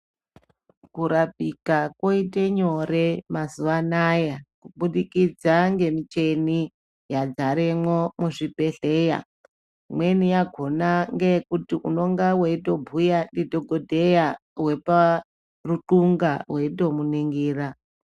Kurapika koite nyore mazuwa anaya kubudikidza ngemichini yadzaremwo muzvibhedhlera imweni yakhona ngeyekuti unonga weitobhuya ndidhogodheya weparuxunga weitomuningira.